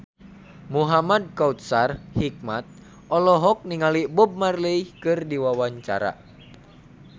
Muhamad Kautsar Hikmat olohok ningali Bob Marley keur diwawancara